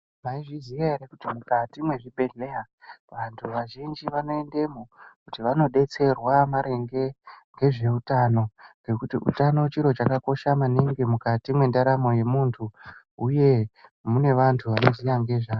Mwaizviziya ere kuti mukati mwezvibhedhleya vantu vazhinji vanoendamo kuti vanodetserwa maringe nezveutano nekuti utano chiro chakakosha maningi mundaramo yemuntu uye mune vantu vanoziya ngezvazvo.